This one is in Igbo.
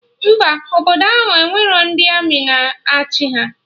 Mba, obodo ahụ enwerọ ndị Armị na achị ha